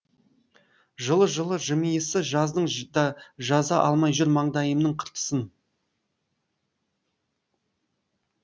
жылы жылы жымиысы жаздың да жаза алмай жүр маңдайымның қыртысын